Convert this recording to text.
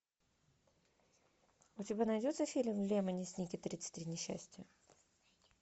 у тебя найдется фильм лемони сникет тридцать три несчастья